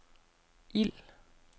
ild